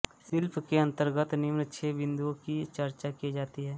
शिल्प के अंतर्गत निम्न छः बिन्दुओं की चर्चा की जाती है